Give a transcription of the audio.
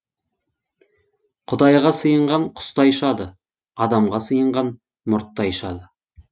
құдайға сыйынған құстай ұшады адамға сыйынған мұрттай ұшады